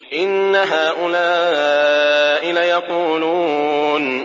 إِنَّ هَٰؤُلَاءِ لَيَقُولُونَ